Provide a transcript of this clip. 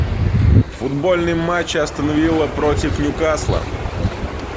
футбольный матч астон вилла против ньюкасла